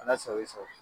Ala sago i sago